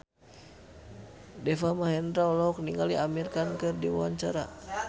Deva Mahendra olohok ningali Amir Khan keur diwawancara